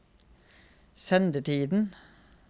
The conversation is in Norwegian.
sendetiden